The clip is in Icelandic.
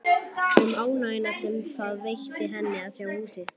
Um ánægjuna sem það veitti henni að sjá húsið.